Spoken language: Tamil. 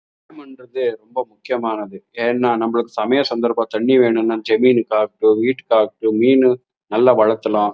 என்றது ரொம்ப முக்கியமானது ஏனா நம்பளுக்கு சமய சந்தர்ப்பம் தண்ணி வேணும் னா ஜமீன் காக்கு வீட்டுகாக்கு மீன் நல்லா வளத்தலாம்.